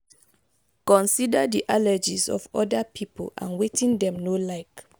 consider di allergies of oda pipo and wetin dem no like